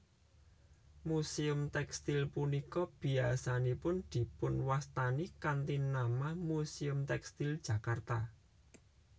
Muséum tèkstil punika biyasanipun dipunwastani kanthi nama Muséum Tèkstil Jakarta